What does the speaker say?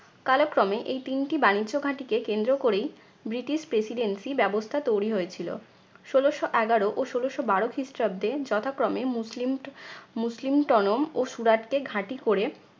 কালক্রমে এই তিনটি বাণিজ্য ঘাঁটিকে কেন্দ্র করেই ব্রিটিশ presidency ব্যবস্থা তৈরি হয়েছিল। ষোলশ এগারো ও ষোলশ বারো খ্রিস্টাব্দে যথাক্রমে মুসলিম ট~ মুসলিম টনম ও সুরাটকে ঘাঁটি করে